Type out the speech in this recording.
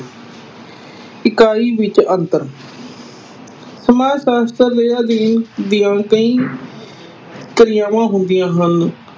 ਇਕਾਈ ਵਿਚ ਅੰਤਰ ਸਮਾਜ ਸ਼ਾਸਤਰ ਦੇ ਅਧਿਐਨ ਦੀਆਂ ਕਈ ਕਿਰਿਆਵਾਂ ਹੁੰਦੀਆਂ ਹਨ।